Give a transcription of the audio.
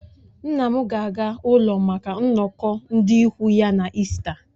Nna m ga-aga ụlọ maka nnọkọ ndị ikwu ya na ịsta